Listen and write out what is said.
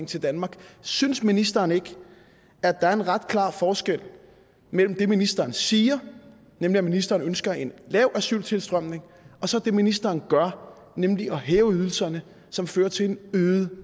til danmark synes ministeren ikke at der er en ret klar forskel mellem det ministeren siger nemlig at ministeren ønsker en lav asyltilstrømning og så det ministeren gør nemlig at hæve ydelserne som fører til en øget